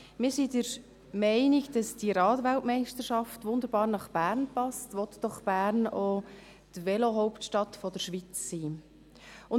Wir sind der Meinung, dass diese Rad-WM wunderbar nach Bern passt, will doch Bern auch die Velohauptstadt der Schweiz sein.